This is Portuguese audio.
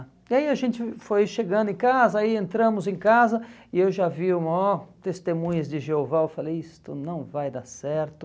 E aí a gente foi chegando em casa, aí entramos em casa, e eu já vi o maior testemunhas de Jeová, eu falei, isto não vai dar certo.